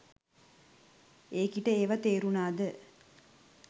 ඒකිට ඒවා තේරුණාද